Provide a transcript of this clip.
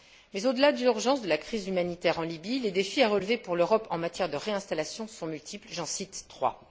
Mais au delà de l'urgence de la crise humanitaire en Libye, les défis à relever pour l'Europe en matière de réinstallation sont multiples. J'en cite trois.